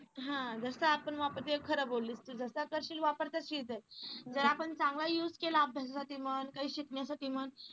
हा जसा आपण वापरतो. तू हे खरं बोललीस, तू जसा करशील वापर तर जर आपण चांगला use केला अभ्यासासाठी म्हण. काही शिकण्यासाठी म्हण.